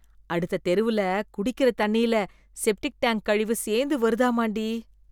அடுத்த தெருவுல குடிக்கிற தண்ணில் செப்டிக் டேங்க் கழிவு சேந்து வருதாமான்டி .